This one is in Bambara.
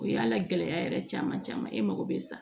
O y'a la gɛlɛya yɛrɛ caman caman ye e mago bɛ sa